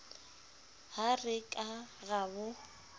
ha re ka ra bo